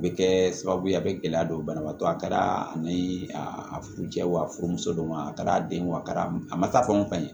Bɛ kɛ sababu ye a bɛ gɛlɛya don banabaatɔ a kɛra ani a furucɛ ye wa furumusow ma a kɛra den ye wa a kɛra a ma taa fɛn ka ɲɛ